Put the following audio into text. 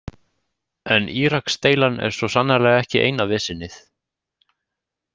En Íraksdeilan er svo sannarlega ekki eina vesenið.